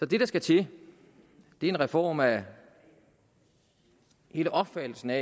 det der skal til er en reform af hele opfattelsen af